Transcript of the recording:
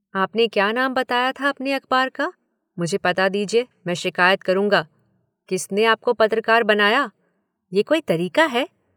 आपने क्या नाम बताया था अपने अखबार का, मुझे पता दीजिये, मैं शिकायत करुंगा, किसने आपको पत्रकार बनाया। ये कोई तरीका है?